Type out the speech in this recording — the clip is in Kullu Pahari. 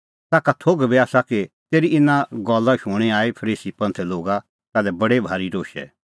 तेखअ पुछ़अ च़ेल्लै ईशू का ताखा थोघ बी आसा कि तेरी इना गल्ला शूणीं आई फरीसी लोगा ताल्है बडी भारी रोशै